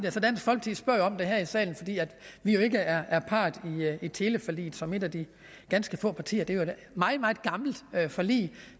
for det spørger om det her i salen fordi vi jo ikke er er part i teleforliget som et af de ganske få partier det er jo et meget meget gammelt forlig